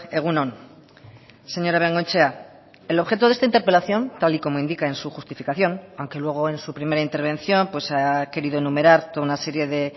egun on señora bengoechea el objeto de esta interpelación tal y como indica en su justificación aunque luego en su primera intervención ha querido enumerar toda una serie de